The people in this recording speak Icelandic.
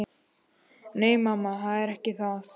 Nei, mamma, það er ekki það.